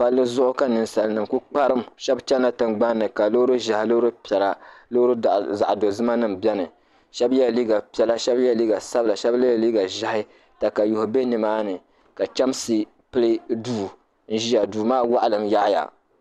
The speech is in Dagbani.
palli zuɣu ka ninsalinima ku kparim shɛba chanila tiŋgbani ni ka loori ʒɛhi loori piɛla loori zaɣ' dozima beni shɛba yɛla liiga piɛla shɛba yɛla liiga sabila shɛba yɛla liiga ʒɛhi takayuhi be ni maani ka chɛmsi pili duu n-ʒia duu maa waɣilim yaɣiya